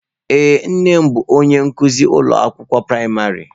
Ee, nne m bụ onye nkuzi ụlọ akwụkwọ praịmarị.